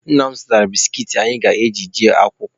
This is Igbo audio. Nna m zụtara biskit anyị ga-eji eje akwụkwọ.